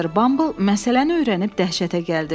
Mister Bumble məsələni öyrənib dəhşətə gəldi.